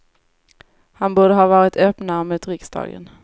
Han borde ha varit öppnare mot riksdagen.